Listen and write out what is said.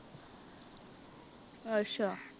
ਅੱਛਾ।